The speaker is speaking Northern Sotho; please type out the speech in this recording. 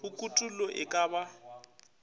ge kutollo e ka ba